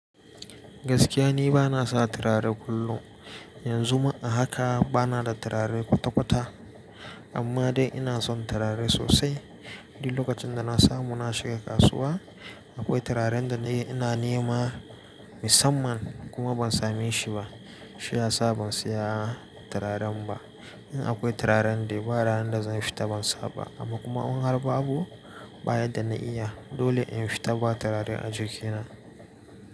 Gaskiya ni bana sa turare kullum. Yanzu ma a haka bana da turare kwata-kwata. Amma dai ina son turare sosai. Duk lokacin da na samu na shiga kasuwa, akwai turaren da ina nema musamman kuma ban same shi ba. Shi ya sa ban saya turaren ba. In akwai turaren da ba ranar da zan fita ban sa ba amma kuma in har ba abu bayan da na iya, dole in fita ba turare a jikina.